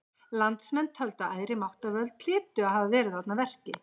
Landsmenn töldu að æðri máttarvöld hlytu að hafa verið þarna að verki.